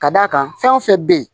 Ka d'a kan fɛn o fɛn bɛ yen